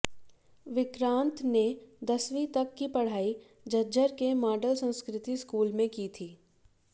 विक्रांत ने दसवीं तक की पढ़ाई झज्जर के मॉडल संस्कृति स्कूल में की थी